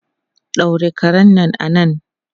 Daure karen nan da nan!